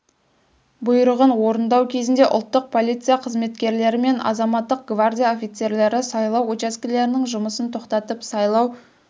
бұйрығын орындау кезінде ұлттық полиция қызметкерлері мен азаматтық гвардия офицерлері сайлау учаскелерінің жұмысын тоқтатып сайлау